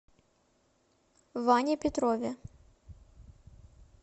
ване петрове